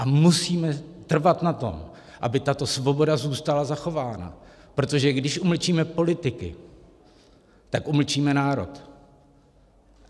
A musíme trvat na tom, aby tato svoboda zůstala zachována, protože když umlčíme politiky, tak umlčíme národ.